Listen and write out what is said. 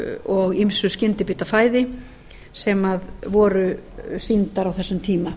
og ýmsu skyndibitafæði sem voru sýndar á þessum tíma